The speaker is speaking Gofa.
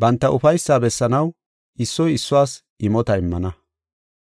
Banta ufaysaa bessanaw issoy issuwas imota immana.